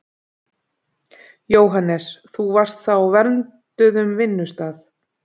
Jóhannes: Þú varst þá á vernduðum vinnustað?